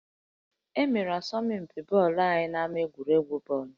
E mere asọmpi bọọlụ anyị n'ama egwuregwu bọọlụ